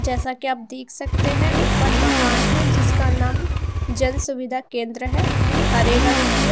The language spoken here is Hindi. जैसा कि आप देख सकते हैं ऊपर मकान है जिसका नाम जन सुविधा केंद्र है हरे रंग की है।